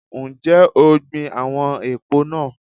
Ǹjẹ́ o gbin àwọn èpò náà?